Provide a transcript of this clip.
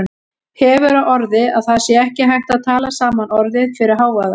Hefur á orði að það sé ekki hægt að tala saman orðið fyrir hávaða.